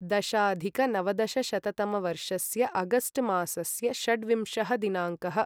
दशाधिकनवदशशततमवर्षस्य August मासस्य षड्विंशः दिनाङ्कः